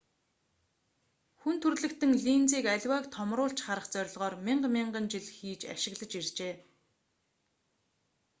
хүн төрөлхтөн линзийг аливааг томруулж харах зорилгоор мянга мянган жил хийж ашиглаж иржээ